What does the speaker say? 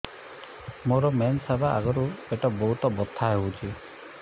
ମୋର ମେନ୍ସେସ ହବା ଆଗରୁ ପେଟ ବହୁତ ବଥା ହଉଚି